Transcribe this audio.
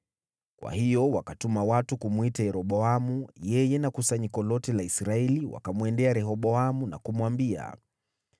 Kwa hiyo wakatuma watu kumwita Yeroboamu, yeye na kusanyiko lote la Israeli wakamwendea Rehoboamu na kumwambia,